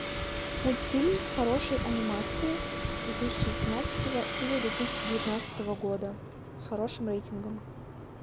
мультфильм с хорошей анимацией две тысячи восемнадцатого или две тысячи девятнадцатого года с хорошим рейтингом